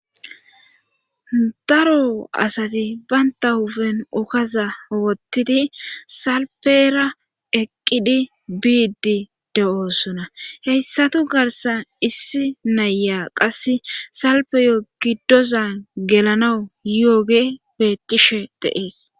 Daro asati baynta hufen okaza owottidi salpera eqqidi biidi de7oosuna heyssatu garsan issi naya qasse salpeyo giddoza gelanawu yooge bettishe deees